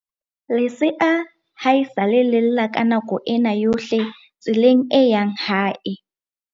Lesea haesale le lla ka nako ena yohle tseleng e yang hae.